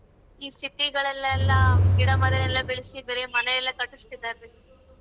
ಈ city ಗಳಲ್ಲೆಲ್ಲ ಗಿಡ ಮರವೆಲ್ಲಾ ಬೆಳೆಸಿದರೆ ಮನೆ ಎಲ್ಲಾ ಕಟ್ಟಿಸ್ತಿದ್ದಾರೀ.